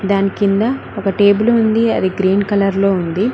దాని కింద ఒక టేబులు ఉంది అది గ్రీన్ కలర్లో ఉంది.